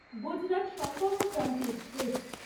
Gujarat Sampark Kranti express